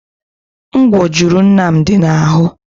Ngwò juru Nnamdi na-ahụ.